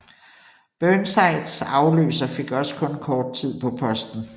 Burnsides afløser fik også kun kort tid på posten